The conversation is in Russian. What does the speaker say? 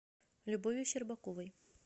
любовью щербаковой